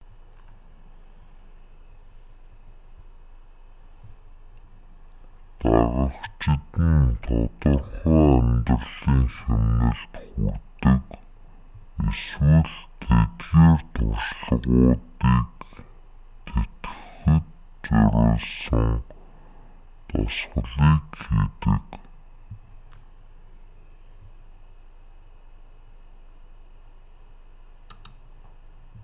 дагагчид нь тодорхой амьдралын хэмнэлд хүрдэг эсвэл тэдгээр туршлагуудыг тэтгэхэд зориулсан дасгалыг хийдэг